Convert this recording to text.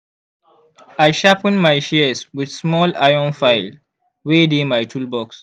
i sharpen my shears with small iron file wey dey my toolbox